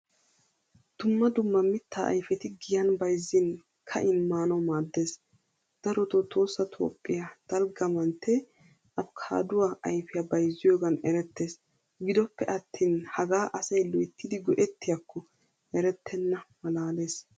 Dumma dumma miittaa ayfetti giyan bayzzin, ka'in maanawu maaddees. Darotto tohossa toophphiyaa dalgga amantte afokaduwaa ayfiyaa bayzziyogan erettees. Giddope attin hagaa asay loyttidi goettiyakko erettena malaalees.